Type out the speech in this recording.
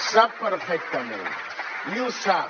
sap perfectament i ho sap